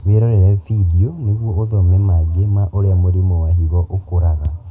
Wĩrorere bindio nĩguo ũthome mangĩ ma ũrĩa mũrimũ wa higo ũkũraga